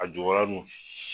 A jukɔrɔla dun